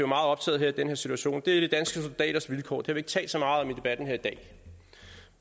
meget optaget af i den her situation er de danske soldaters vilkår det har vi ikke talt så meget om i debatten her i dag